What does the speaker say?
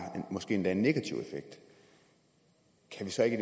måske endda en negativ effekt kan vi så ikke